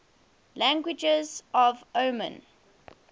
languages of oman